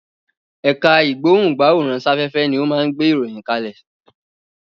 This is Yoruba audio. Ẹ̀ka ìgbóhùn-gbáwòrán-sáfẹ́fẹ́ ni ó máa ń gbé ìròyìn kalẹ̀.